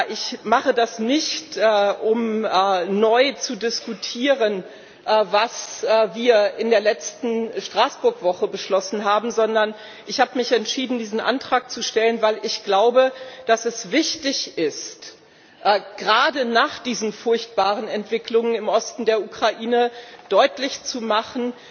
Ich mache das nicht, um neu zu diskutieren, was wir in der letzten Straßburg Woche beschlossen haben, sondern ich habe mich entschieden, diesen Antrag zu stellen, weil ich glaube, dass es wichtig ist gerade nach diesen furchtbaren Entwicklungen im Osten der Ukraine deutlich zu machen,